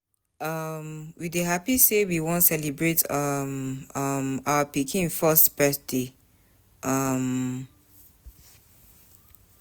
um We dey hapi sey we wan celebrate um um our pikin first birthday. um